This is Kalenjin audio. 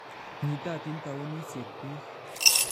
Nyitatin tawunisiek biik